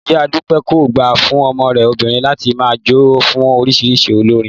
Ìyá Dúpẹ́ kò gbà fún ọmọ rẹ̀ obìnrin láti máa jó fún oríṣiríṣi olórin